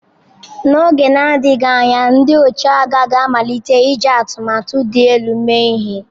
N'oge na-adịghị anya, ndị ọchịagha ga-amalite iji atụmatụ dị elu mee ihe.